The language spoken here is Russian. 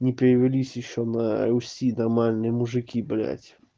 не перевелись ещё на руси нормальные мужики блять